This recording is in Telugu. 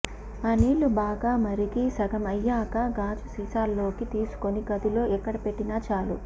ఆ నీళ్లు బాగా మరిగి సగం అయ్యాక గాజుసీసాలోకి తీసుకుని గదిలో ఎక్కడ పెట్టినా చాలు